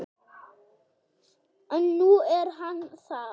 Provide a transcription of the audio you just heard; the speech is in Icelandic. Og nú er hann það.